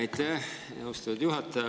Aitäh, austatud juhataja!